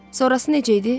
Sonrası necə idi?